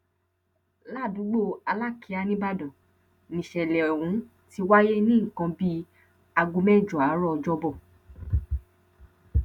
ládùúgbò alákìá nìbàdàn níṣẹlẹ ohun ti wáyé ní nǹkan bíi aago mẹjọ àárọ ọjọbọ